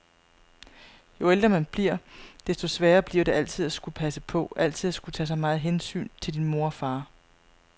Jo ældre man bliver, desto sværere bliver det altid at skulle passe på, altid at skulle tage så meget hensyn til din mor og far.